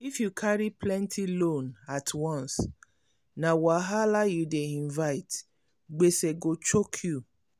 if you carry plenti loan at once na wahala you dey invite gbese go choke you.